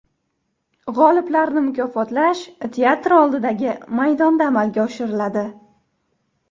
G‘oliblarni mukofotlash teatr oldidagi maydonda amalga oshiriladi.